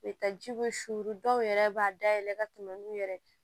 U bɛ taa jiko sunuru dɔw yɛrɛ b'a dayɛlɛ ka tɛmɛ n'u yɛrɛ ye